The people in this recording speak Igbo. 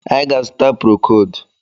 Anyị ga-azuta prokold.